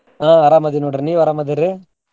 ಹಾ ಅರಾಮದಿನ್ ನೋಡ್ರಿ ನೀವ್ ಅರಾಮದಿರೀ?